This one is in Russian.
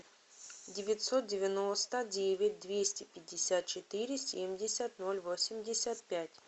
девятьсот девяносто девять двести пятьдесят четыре семьдесят ноль восемьдесят пять